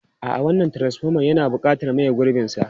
A'a, wannan transfoman yana buƙatar maye gurbinsa.